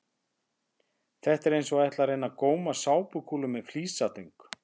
Þetta er eins og að ætla að reyna að góma sápukúlur með flísatöng!